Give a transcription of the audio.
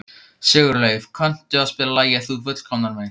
Sigurleif, kanntu að spila lagið „Þú fullkomnar mig“?